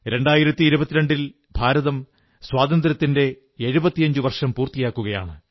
2022 ൽ ഭാരതം സ്വാതന്ത്ര്യത്തിന്റെ 75 വർഷം പൂർത്തിയാക്കുകയാണ്